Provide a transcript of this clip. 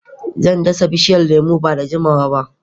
Zan dasa bishiyar lemu nan ba da jimawa ba